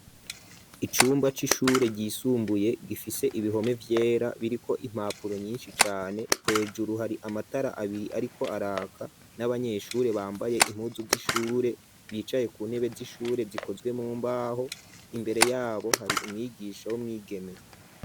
Icumba c'ishure ryisumbuye gifise ibihome vyera biriko impapuro nyinshi cane ,hejuru har’ amatara abiri ariko araka n'abanyeshure bambaye impuzu z'ishure bicaye ku ntebe z'ishure zikozwe mumbaho ,imbere yabo har’umwigisha w'umwigeme.